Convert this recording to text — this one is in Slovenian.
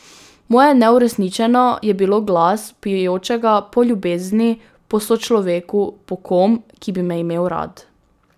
Moje neuresničeno je bilo glas vpijočega po ljubezni, po sočloveku, po kom, ki bi me imel rad.